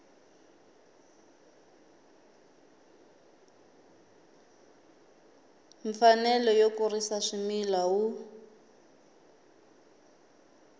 mfanelo yo kurisa swimila wu